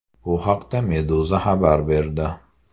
Bu haqda Meduza xabar berdi .